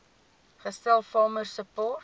gestel farmer support